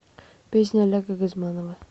песня олега газманова